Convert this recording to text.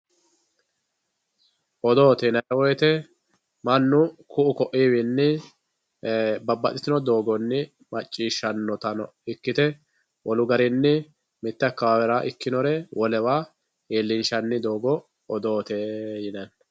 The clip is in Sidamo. Odoote yinanni woyite manu ku'u ku'uwinni babbaxitino doogonni macciishanotanno ikkite wolu garinni mite akawawera ikkinore wolewa iillishanni doogo odootte yinnanni.